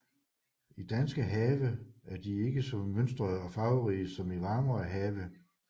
I danske have er de ikke så mønstrede og farverige som i varmere have